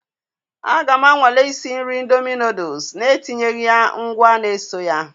A ga m anwale isi nri ịndomi nụụdụs na-etinyeghị ya ngwa na eso ya.